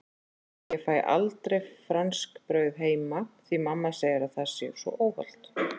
Ég fæ aldrei franskbrauð heima því mamma segir að það sé svo óhollt!